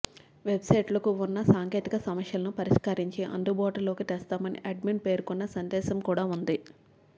వెబ్సైట్కు వున్న సాంకేతిక సమస్యలను పరిష్కరించి అందుబాటులోకి తెస్తామని అడ్మిన్ పేర్కొన్న సందేశం కూడా వుంది